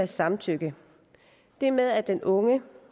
samtykke det med at den unge